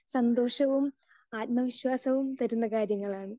Speaker 2 സന്തോഷവും ആത്മവിശ്വാസവും തരുന്ന കാര്യങ്ങളാണ്.